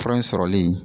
Fura in sɔrɔli